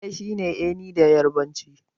Ɗaya shine 'eni' da yarbanci.